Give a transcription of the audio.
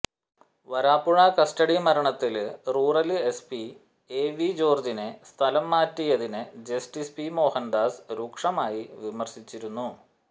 Varapuzha custody മരണത്തിൽ rural SP A V ജോര്ജിനെ സ്ഥലം മാറ്റിയതിനെ ജസ്റ്റിസ് പി മോഹനദാസ് രൂക്ഷമായി വിമർശിച്ചിരുന്നു